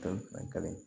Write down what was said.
Kalo fila kelen